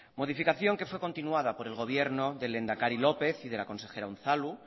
modificación que fue continuada por el gobierno del lehendakari lópez y de la consejera unzalu